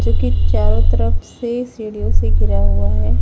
जो की चारों तरफ से सीढ़ीओ से घिरा हुआ है।